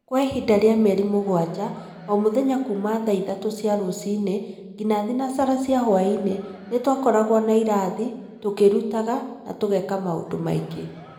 Kwa ihinda rĩa mĩeri mũgwanja, o mũthenya kuuma thaa ithatũ cia rũcinĩ nginya thaa thinacara cia hwaĩ-inĩ, nĩ twakoragwo na irathi, tũkĩĩrutaga, na tũgeka maũndũ mangĩ.